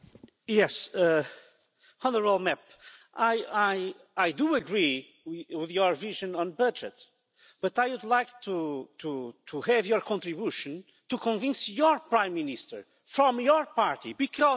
I do agree with your vision on budget, but I would also like you to make a contribution by convincing your Prime Minister, from your party, because he was here saying exactly the opposite of what you are saying.